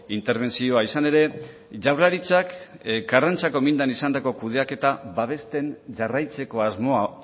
interbentzioa izan ere jaurlaritzak karrantzako mindan izandako kudeaketa babesten jarraitzeko asmoa